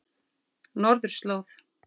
Norðurslóð